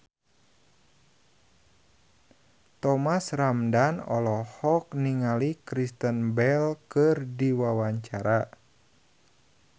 Thomas Ramdhan olohok ningali Kristen Bell keur diwawancara